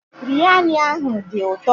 Biryani ahụ dị ụtọ